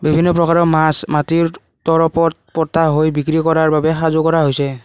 বিভিন্ন প্ৰকাৰৰ মাছ মাটিৰ পতা হৈ বিক্ৰী কৰা বাবে সাজু কৰা হৈছে।